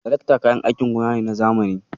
Tirakta kayan aikin gona ne na zamani.